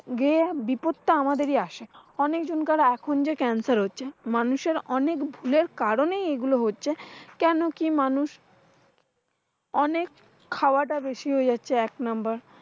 গে বিপাদতো আমাদেরই আসে। অনেক জনকার এখন যে cancer হচ্ছে। মানুষের অনেক ভুলের কারণে এইগুলো হচ্ছে। কেন কি মানুষ অনেক খাওয়াটা বেশি হয়ে যাচ্ছে। এক নাম্বর